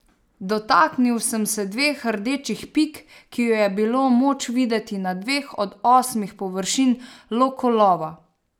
Dotaknil sem se dveh rdečih pik, ki ju je bilo moč videti na dveh od osmih površin lokolova.